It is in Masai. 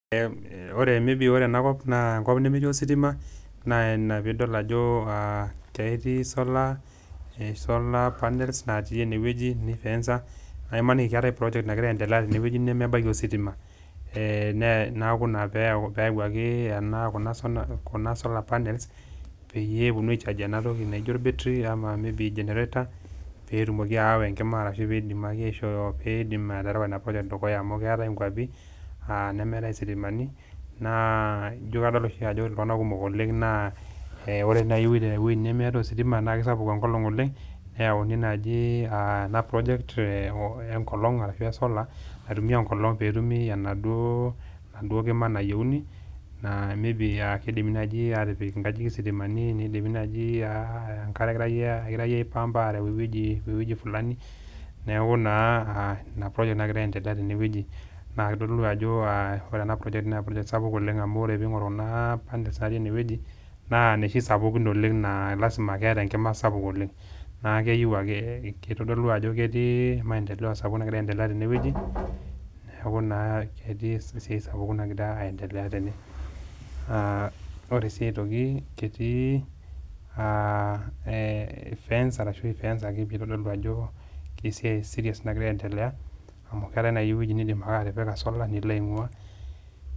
Ore maybe enakop, naa enkop nemetii ositima naa ina pee idol ajo ketii esolar, solar panel natii ene wueji, neifensa, nemaaniki keatai project nagira aendelea tenewueji nemeatai ositima. Neaku ina pee eyauwaki kuna solar panels, peyie ewuonuni aichargie ena toki naijo olbetri ama maybe olgenerato, pee eidimaki aawa enkima ashu peedimaki aerewa ina project dukuya amu keatai inkwapi nemeatai isitimani, naa ajo kadol oshi iltung'ana kumopk oleng' na, ore naaji tenepuo ewueji nemetii ositima naa sapuk enkolong' oleng' neyauni naaji ena project enkolong' ashu esolar naitumiya enkolong' pee etumi enaduo kima nayieuni naa maybe meidim naaji aatipik inkajijik isitimani teneidipi naaj, enkare eipampaki areu ewueji fulani neaku naa ina project nagira aendelea tenewueji. Naa keitodolu ajo ore ena project naa sapuk oleng', amu pee ing'or kuna panels natii ene wueji, naa inooshi sapukin oleng' naa lazima pakeata enkima sapuk oleng'. Naa keitodolu ajo ketii mendeleo sapuk nagira aendelea tenewueji, neaku naa ketii esiai sapuk nagira aendelea tene. Ore sii aitoki, ketii fence arshu eifensaki pee eitodolu ajo kesiai serious nagira aendelea, amu keatai naaji ewueji niindim atipika solar nilo aing'waa .